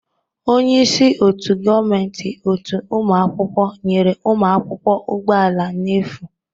Onye isi otu gọọmentị otu ụmụ akwụkwọ nyere ụmụ akwụkwọ ụgbọ ala n'efu.